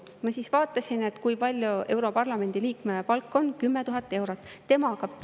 Ma siis vaatasin, et kui palju europarlamendi liikme palk on: 10 000 eurot.